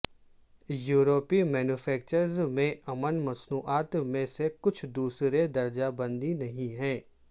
یورپی مینوفیکچررز میں ان مصنوعات میں سے کچھ دوسرے درجہ بندی نہیں ہے